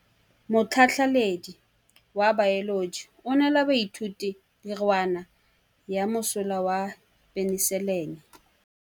Motlhatlhaledi wa baeloji o neela baithuti tirwana ya mosola wa peniselene.